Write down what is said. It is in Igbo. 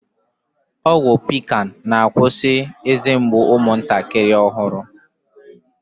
Ọgwụ pikan na-akwusi eze mgbu umụntakịrị ọhụrụ